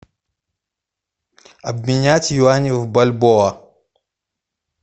обменять юани в бальбоа